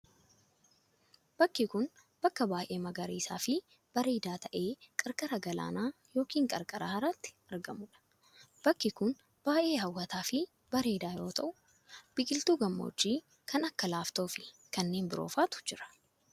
Bakki kun, bakka baay'ee magariisa fi bareedaa ta'e qarqara galaanaa yokin qarqara haraatti argamuu dha. Bakki kun, baay'ee hawwataa fi bareedaa yoo ta'u, biqiltuu gammoojjii kan akka laaftoo fi kanneen biroo faatu jira.